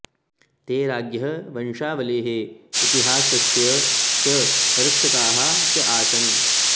ते राज्ञः वंशावलेः इतिहासस्य च रक्षकाः च आसन्